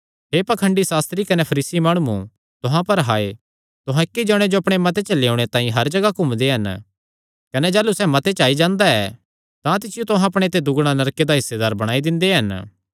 हे पाखंडी सास्त्री कने फरीसी माणुओ तुहां पर हाय तुहां इक्की जणे जो अपणे मत च लेयोणे तांई हर जगाह घूमदे हन कने जाह़लू सैह़ मत च आई जांदा ऐ तां तिसियो तुहां अपणे ते दुगणा नरके दा हिस्सेदार बणाई दिंदे हन